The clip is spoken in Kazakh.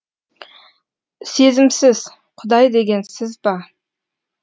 сезімсіз құдай деген сіз ба